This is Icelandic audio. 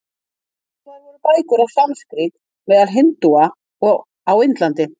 Skrifaðar voru bækur á sanskrít meðal hindúa á Indlandi.